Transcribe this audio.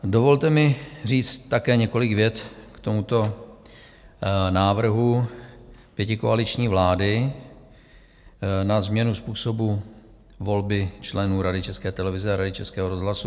Dovolte mi říct také několik vět k tomuto návrhu pětikoaliční vlády na změnu způsobu volby členů Rady České televize a Rady Českého rozhlasu.